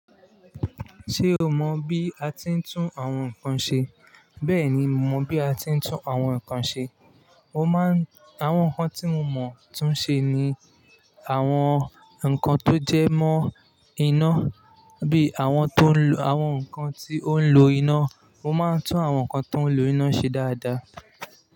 Ṣé o mọ bí a ti ń tún àwọn nkan ṣe? Bẹ́ẹ̀ni, mo mọ bí a ti ń tún àwọn nkan ṣe. Mo máa ń àwọn nkan tí mo mọ tún ṣe ni àwọn nkan tó jẹ́ mọ́ iná bí i àwọn tó ń lo àwọn nkan tí ó ń lo iná. Mo máa ń tún àwọn nkan tó ń lo iná ṣe dáadáa.